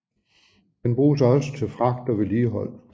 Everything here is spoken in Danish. Den bruges også til fragt og vedligehold